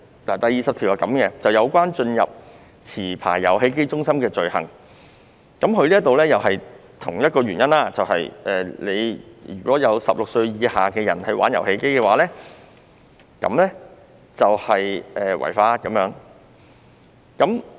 第20條是有關進入持牌遊戲機中心的罪行，基於同一個原因，如果有16歲以上人士在那裏玩遊戲便屬違法。